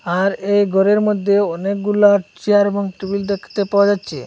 আর এই ঘরের মইধ্যে অনেকগুলা চেয়ার এবং টুল দেখতে পাওয়া যাচ্ছে।